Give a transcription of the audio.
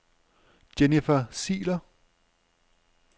Jennifer Ziegler